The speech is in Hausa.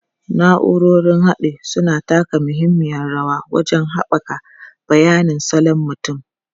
Na'urorin haɗi suna taka muhimmiyar rawa wajen haɓaka bayanin salon mutum.